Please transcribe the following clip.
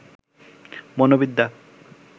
মনোবিদ্যা